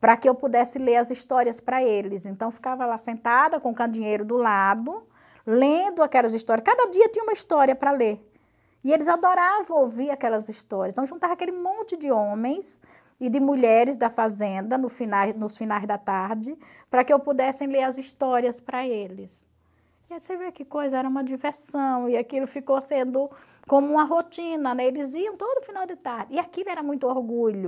para que eu pudesse ler as histórias para eles, então eu ficava lá sentada com o candinheiro do lado, lendo aquelas histórias, cada dia tinha uma história para ler, e eles adoravam ouvir aquelas histórias, então juntava aquele monte de homens e de mulheres da fazenda no finais nos finais da tarde, para que eu pudesse ler as histórias para eles, e aí você vê que coisa, era uma diversão, e aquilo ficou sendo como uma rotina, né, eles iam todo final de tarde, e aquilo era muito orgulho,